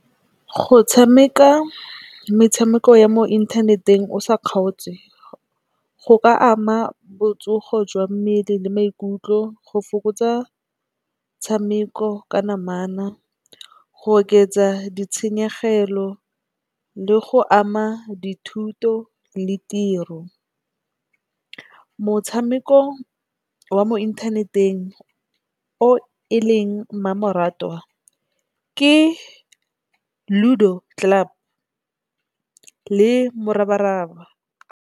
Go tshameka metshameko ya mo inthaneteng o sa kgaotswe, go ka ama botsogo jwa mmele le maikutlo go fokotsa tshameko ka namana, go oketsa ditshenyegelo le go ama dithuto le tiro. Motshameko wa mo inthaneteng o e leng mmamoratwa ke Ludo Club le Morabaraba.